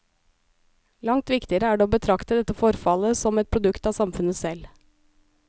Langt viktigere er det å betrakte dette forfallet som et produkt av samfunnet selv.